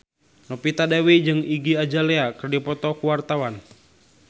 Novita Dewi jeung Iggy Azalea keur dipoto ku wartawan